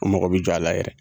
U mago bɛ jɔ a la yɛrɛ.